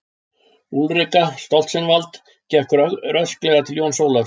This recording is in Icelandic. Úlrika Stoltzenwald gekk rösklega til Jóns Ólafs.